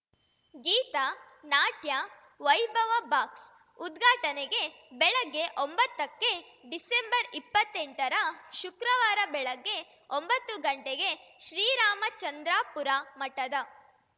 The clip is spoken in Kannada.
ಗೀತ ನಾಟ್ಯ ವೈಭವ ಬಾಕ್ಸ್‌ ಉದ್ಘಾಟನೆಗೆ ಬೆಳಿಗ್ಗೆ ಒಂಬತ್ತಕ್ಕೆ ಡಿಸೆಂಬರ್ಇಪ್ಪತ್ತೆಂಟರ ಶುಕ್ರವಾರ ಬೆಳಗ್ಗೆ ಒಂಬತ್ತು ಗಂಟೆಗೆ ಶ್ರೀರಾಮಚಂದ್ರಾಪುರ ಮಠದ